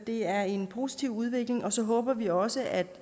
det er en positiv udvikling og så håber vi også at